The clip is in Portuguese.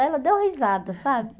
Ela deu risada, sabe?